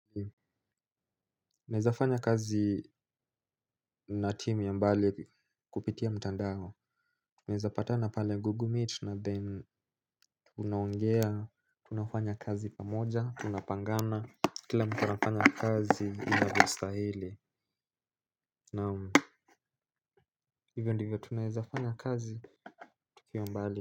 Naeza fanya kazi na team ya mbali kupitia mtandao. Naeza patana pale Google Meet na then unaongea tunafanya kazi pamoja, tunapangana, kila anafanya kazi inavyostahili naam hivyo ndivyo tunaezafanya kazi tukiwa mbali.